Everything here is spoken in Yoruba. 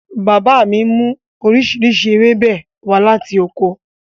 Bàbá mi mú oríṣiríṣi ewébẹ̀ wá láti oko